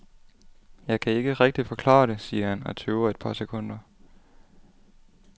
Jeg kan ikke rigtig forklare det, siger han og tøver et par sekunder.